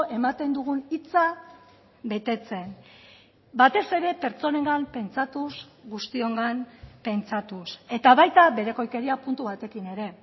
ematen dugun hitza betetzen batez ere pertsonengan pentsatuz guztiongan pentsatuz eta baita berekoikeria puntu batekin ere